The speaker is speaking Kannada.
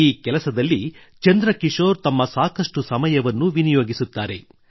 ಈ ಕೆಲಸದಲ್ಲಿ ಚಂದ್ರ ಕಿಶೋರ್ ತಮ್ಮ ಸಾಕಷ್ಟು ಸಮಯವನ್ನು ವಿನಿಯೋಗಿಸುತ್ತಾರೆ